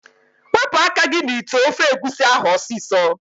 Wepu aka gi n'ite ofe egusi ahu osiso!